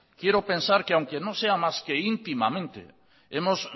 quiero pensar que aunque no sea más que íntimamente hemos